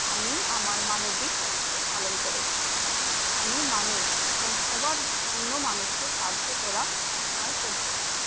আমি আমার মানবীক দায়িত্ব পালন করেছি । আমি মানুষ এবং সবার অন্য মানুষ কে সাহায্য করা তার কর্তব্য ।